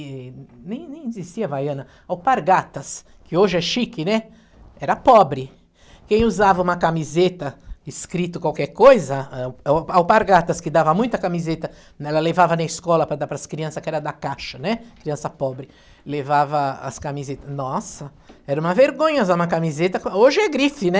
e nem nem existia Havaiana alpargatas que hoje é chique né era pobre quem usava uma camiseta escrito qualquer coisa ãh ãh alpargatas que dava muita camiseta ela levava na escola para dar para as crianças que era da caixa né criança pobre levava as camiseta, nossa era uma vergonha usar uma camiseta hoje é grife né